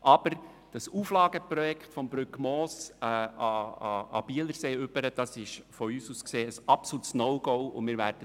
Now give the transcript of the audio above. Aber das Auflageprojekt vom Brückmoos an den Bielersee ist aus unserer Sicht ein absolutes No-Go, das wir bekämpfen werden.